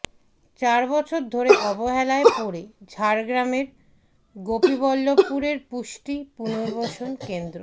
চারবছর ধরে অবহেলায় পড়ে ঝাড়গ্রামের গোপীবল্লভপুরের পুষ্টি পুনর্বাসন কেন্দ্র